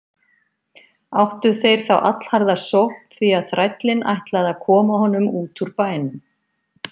Áttu þeir þá allharða sókn því að þrællinn ætlaði að koma honum út úr bænum.